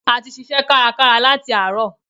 A ti ṣiṣẹ́ kárakára láti àárọ̀.